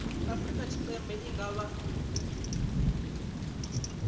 afrika tshipembe i nga vha